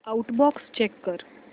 outbox check कर